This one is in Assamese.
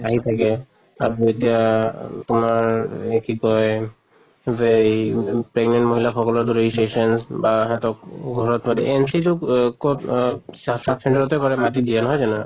আহি থাকে আৰু এতিয়া তোমাৰ এহ কি কয় ৱেই pregnant মহিলা সকলৰ registrations বা হেতক ঘৰত মাতি অহ কʼত অহ sub sub center তে কৰে মাতি দিয়ে নহয় জানো?